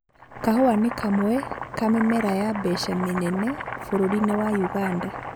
kahũa nĩ kamwe ka mĩmera ya mbeca mĩnene bũrũri-inĩ wa ũganda